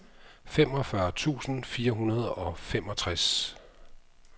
femogfyrre tusind fire hundrede og femogtres